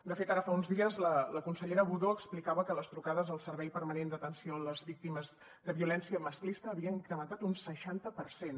de fet ara fa uns dies la consellera budó explicava que les trucades al servei permanent d’atenció a les víctimes de violència masclista havien incrementat un seixanta per cent